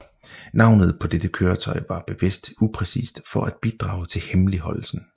Navnet på dette køretøj var bevidst upræcist for at bidrage til hemmeligholdelsen